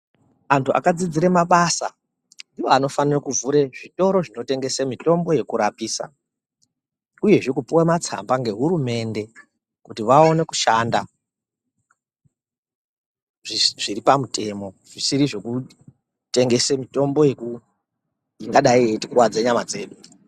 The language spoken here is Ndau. Antu akafundira mabasa ndiwo anofana kuvhura zvitoro zvekurapisa uyezve kupuwa matsamba nehurumende kuti vaone kushanda zviri pamutemo zvisiri zvekutengesa mitombo ingadai ichitikuwadza nyama dzedu.